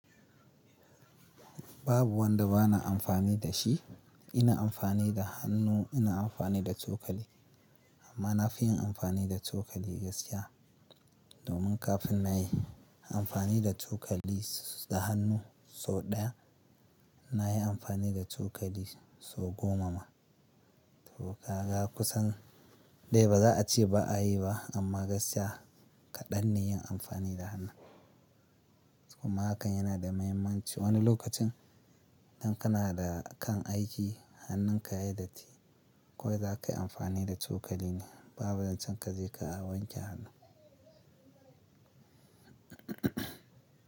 Babu wanda ba na amfani da shi. Ina amfani da hannu, ina amfani da cokali. Amma na fi yin amfani da cokali gaskiya. Domin kafin na yi amfani da cokali da hannu sau ɗaya, na yi amfani da cokali sau goma ma. To kaga kusan dai ba za a ce ba a yi ba, amma gaskiya kaɗan ne yin amfani da hannu. Kuma hakan yana da mahimmanci. Wani lokacin idan kana da kan aiki hannunka ya datti, kawai za ka yi amfani da cokalin ka. Babu zan can ka je ka wanke hannu.